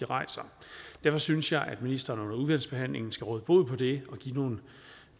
rejser derfor synes jeg at ministeren under udvalgsbehandlingen skal råde bod på det og give nogle